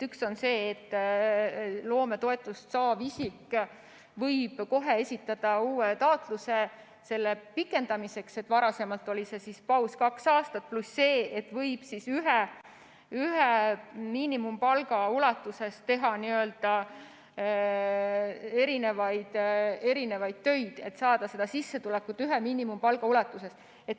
Üks on see, et loometoetust saav isik võib kohe esitada uue taotluse selle pikendamiseks , pluss see, et ta võib teha erinevaid töid, saades sissetulekut ühe miinimumpalga ulatuses.